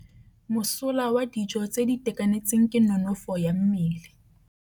Mosola wa dijô tse di itekanetseng ke nonôfô ya mmele.